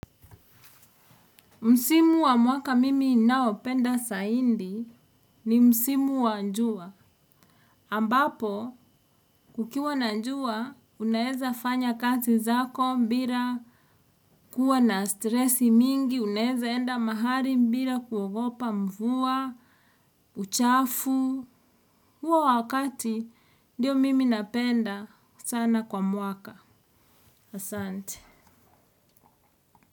Msimu wa mwaka mimi ninaopenda zaidi ni msimu wa jua. Ambapo, kukiwa na jua, unaweza fanya kati zako bila kuwa na stresi mingi, unaweza enda mahali bila kuogopa mvua, uchafu. Huo wakati ndio mimi napenda sana kwa mwaka. Asante.